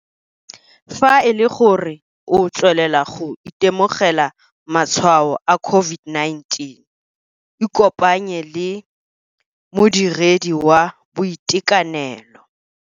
Fa e le gore o tswelela go itemogela matshwao a COVID-19 ikopanye le modiredi wa boitekanelo.